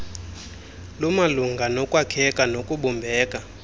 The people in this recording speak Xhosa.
lumalunga nokwakheka nokubumbeka